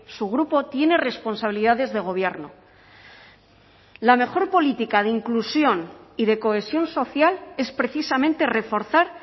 su grupo tiene responsabilidades de gobierno la mejor política de inclusión y de cohesión social es precisamente reforzar